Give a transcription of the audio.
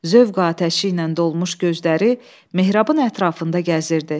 Zövq atəşi ilə dolmuş gözləri mehrabın ətrafında gəzirdi.